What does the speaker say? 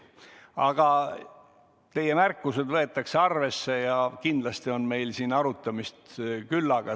Aga teie märkused võetakse arvesse ja kindlasti on meil arutamist küllaga.